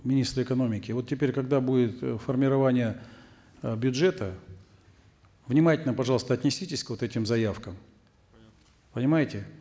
министр экономики вот теперь когда будет э формирование э бюджета внимательно пожалуйста отнеситесь к вот этим заявкам понимаете